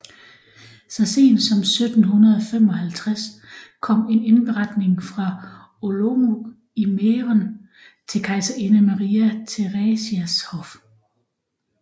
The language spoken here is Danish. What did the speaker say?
Så sent som 1755 kom en indberetning fra Olomouc i Mæhren til kejserinde Maria Theresias hof